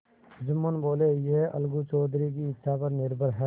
जुम्मन बोलेयह अलगू चौधरी की इच्छा पर निर्भर है